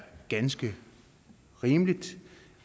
ganske rimeligt